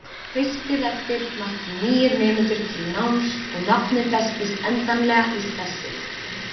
Haustið eftir mættu nýir nemendur til náms og nafnið festist endanlega í sessi.